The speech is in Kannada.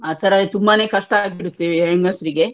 ಆತರ ತುಂಬಾನೆ ಕಷ್ಟ ಆಗ್ಬಿಡುತ್ತೆ ಹೆಂಗಿಸ್ರಿಗೆ.